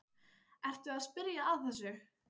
Ertu að spyrja að þessu?